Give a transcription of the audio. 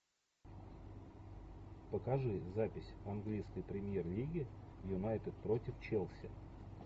покажи запись английской премьер лиги юнайтед против челси